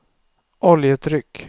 oljetryck